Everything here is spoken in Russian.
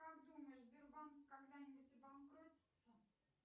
как думаешь сбербанк когда нибудь обанкротится